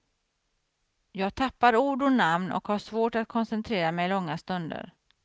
Jag tappar ord och namn och har svårt att koncentrera mig långa stunder.